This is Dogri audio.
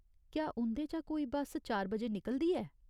क्या उं'दे चा कोई बस्स चार बजे निकलदी ऐ ?